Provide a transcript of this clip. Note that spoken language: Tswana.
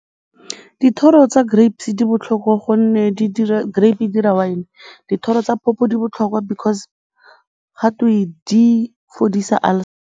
Dithoro tsa grapes di botlhokwa gonne di dira grape e dira wine. Dithoro tsa phopho di botlhokwa because gatwe di fodisa ulcer.